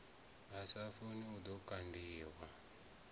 sa funi ḽi ḓo kandiwa